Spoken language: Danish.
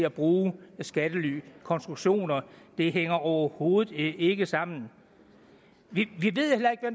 at bruge skattelykonstruktioner det hænger overhovedet ikke sammen vi